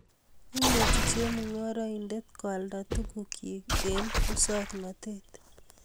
Imuchi chemung'araindet koalda tugukchi eng musong'natet